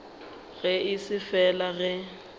ge e se fela ge